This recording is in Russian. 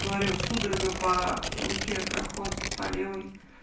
говорю судорога по руке проходит по левой